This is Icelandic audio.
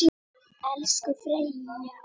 Elsku Freyja okkar.